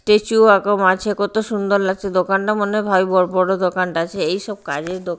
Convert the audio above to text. tissue এরকম আছে কত সুন্দর লাগছে দোকানটা মনে হয় বড়ো বড়ো দোকানটা আছে এই সব কাজেই দো--